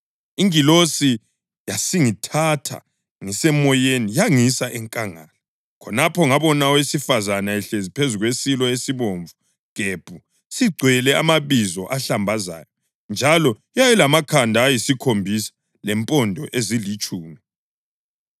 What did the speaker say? Ingilosi yasingithatha ngiseMoyeni yangisa enkangala. Khonapho ngabona owesifazane ehlezi phezu kwesilo esibomvu gebhu sigcwele amabizo ahlambazayo njalo yayilamakhanda ayisikhombisa lempondo ezilitshumi.